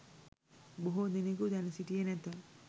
බොහෝ දෙනෙකු දැන සිටියේ නැත